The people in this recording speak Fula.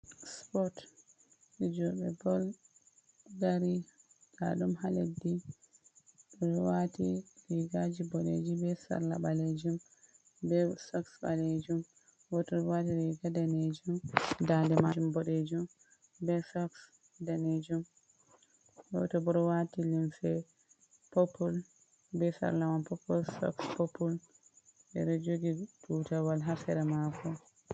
Spot, fijoɓe bol dari, daɗum ha leddi, ɓe ɗo waati rigaaji boɗeji be sarla ɓalejum, be soks ɓalejum. Goto bo ɗo waati riga danejum, dande majum boɗejum be soks danejum. Goto bo ɗo waati limse popul, be sarla popul, be soks popul. O ɗo jogi tutawal haa sera mashin.